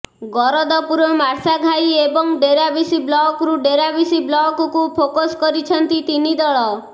ଗରଦପୁର ମାର୍ଶାଘାଇ ଏବଂ ଡେରାବିଶ ବ୍ଲକ୍ରୁ ଡେରାବିଶ ବ୍ଲକ୍କୁ ଫୋକସ କରିଛନ୍ତି ତିନି ଦଳ